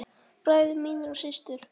Bræður mínir og systur.